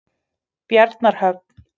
Bjarnarhöfn